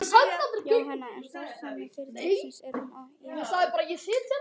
Jóhann: En starfsemi fyrirtækisins, er hún í hættu?